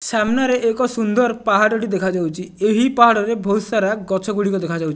ସାମ୍ନାରେ ଏକ ସୁନ୍ଦର ପାହାଡ଼ ଟି ଦେଖା ଯାଉଛି ଏହି ପାହାଡ଼ ରେ ବହୁତ ସାରା ଗଛ ଗୁଡ଼ିକ ଦେଖା ଯାଉ --